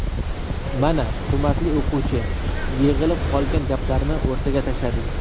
Mana, hurmatli o‘quvchi, yig‘ilib qolgan gaplarni o‘rtaga tashladik.